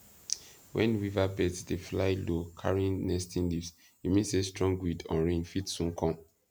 when weaver birds dey fly low carrying nesting leaves e mean say strong wind or rain fit soon come